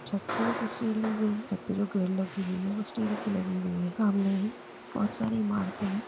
छत से ये तस्वीर ली गई है छत पे जो ग्रिल लगी हुई है वो स्टील की लगी हुई है। सामने ही बहोत सारी इमारते हैं ।